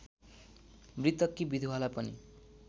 मृतककी विधुवालाई पनि